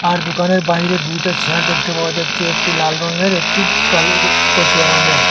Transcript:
আর দুকানের বাইরে দুইটা চেয়ার দেখতে পাওয়া যাচ্ছে একটি লাল রঙের একটি কালো কচুয়া রঙের।